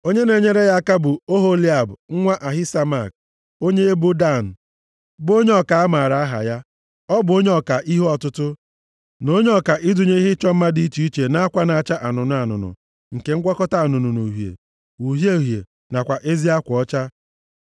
Onye na-enyere ya aka bụ Oholiab nwa Ahisamak, onye ebo Dan, bụ onye ọka a maara aha ya, ọ bụ onye ọka ihe ọtụtụ, na onye ọka ịdụnye ihe ịchọ mma dị iche iche nʼakwa na-acha anụnụ anụnụ, nke ngwakọta anụnụ na uhie, uhie uhie nakwa ezi akwa ọcha.